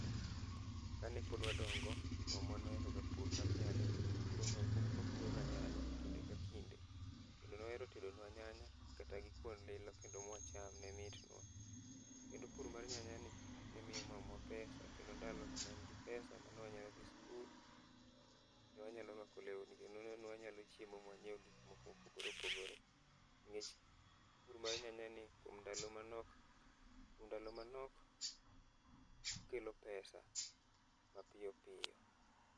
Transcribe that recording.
Kanepod wadongo, mamwa noero ga pur mar nyanya kendo nopuronwa, nopuroga nyanya kinde ka kinde. Kendo noero tedonwa nyanya kata gi kuon lilo kendo mwacham ne litnwa. Kendo puro mar nyanya ni nemiyo mamwa omenda kendo ndalono neen gi omenda mane wanyalodhi sikul. Ne wanyalo rwako lewni kendo ne wanyalo chiemo mwanyiew gik moko mopogore opogore. Nikech pur mar nyanya en ni kuom ndalo manok, kuom ndalo manok okelo omenda mapiyo piyo.